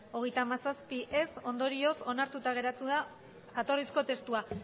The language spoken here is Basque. hogeita hamazazpi ondorioz onartuta geratu da jatorrizko testua